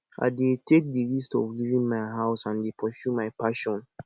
i dey take di risk of leaving my house and dey pursue my passion